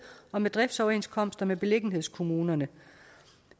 og med driftsoverenskomster med beliggenhedskommunerne